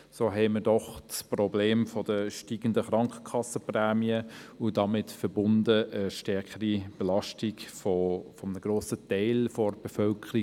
Trotzdem haben wir ein Problem mit steigenden Krankenkassenprämien und der damit verbundenen steigenden Belastung eines Grossteils der Bevölkerung.